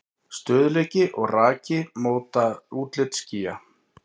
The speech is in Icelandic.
Stöðugleiki og raki móta útlit skýja.